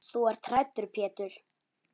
Þú ert hræddur Pétur.